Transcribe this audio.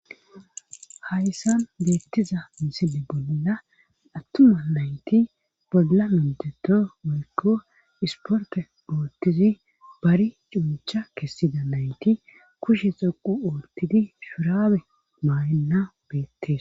hayssan deettiza misile bolina attuma nayti bolla menteto woykko isporte oottizi bari cuncha kessida nayti kushe xoqu ootidi shurabe maynna beettes